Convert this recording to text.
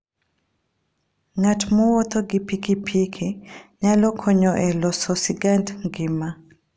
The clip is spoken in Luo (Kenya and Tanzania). Ng'at mowuotho gi pikipiki nyalo konyo e loso sigand ngima.